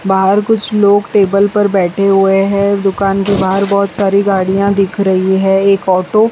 बाहर कुछ लोग टेबल पर बैठे हुए हैं दुकान के बाहर बहुत सारी गाड़ियां दिख रही है एक ऑटो --